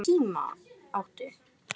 Hvernig síma áttu?